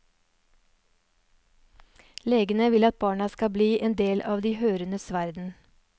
Legene vil at barna skal bli en del av de hørendes verden.